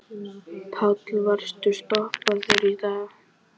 Páll: Varstu stoppaður í dag?